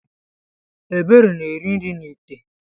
Ebere na-eri nri n’ite